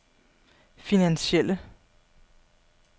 finansielle